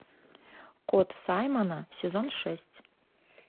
кот саймона сезон шесть